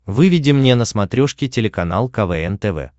выведи мне на смотрешке телеканал квн тв